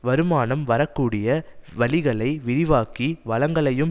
வருமானம் வரக்கூடிய வழிகளை விரிவாக்கி வளங்களையும்